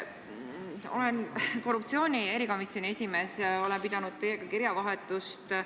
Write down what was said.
Olen korruptsioonivastase erikomisjoni esimees ja olen pidanud teiega kirjavahetust.